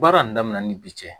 Baara in daminɛna ni bi cɛ